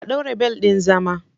A ɗaure bel ɗin zama!